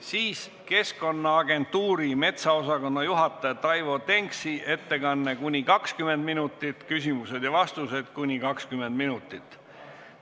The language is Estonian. Siis esineb Keskkonnaagentuuri metsaosakonna juhataja Taivo Denks – ettekanne kuni 20 minutit ning küsimused ja vastused taas kuni 20 minutit.